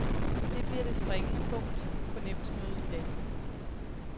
Det bliver det springende punkt på nævnsmødet i dag.